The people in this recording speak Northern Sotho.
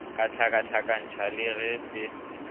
a hlakahlakantšha le ge se